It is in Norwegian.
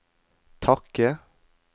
takke